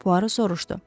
Puaro soruşdu.